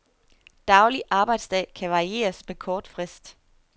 Daglig arbejdsdag kan varieres med kort frist.